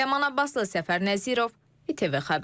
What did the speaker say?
Ləman Abbaslı Səfər Nəzirov ATV xəbər.